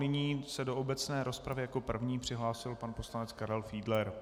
Nyní se do obecné rozpravy jako první přihlásil pan poslanec Karel Fiedler.